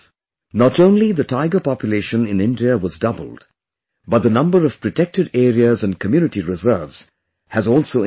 Not only the tiger population in India was doubled, but the number of protected areas and community reserves has also increased